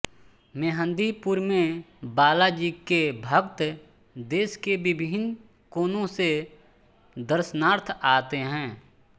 मेहंदीपुर में बालाजी के भक्त देश के विभिन्न कोनो से दर्शनार्थ आते है